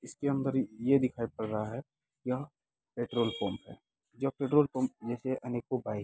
इसके अंदर ये दिखाई पड़ रहा है यहां पेट्रोलपंप है। जो पेट्रोलपंप में से अनेको बाइक --